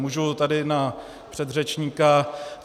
Můžu tady na předřečníka.